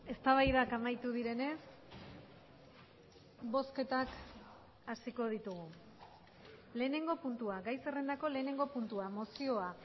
eztabaidak amaitu direnez bozketak hasiko ditugu lehenengo puntua gai zerrendako lehenengo puntua mozioa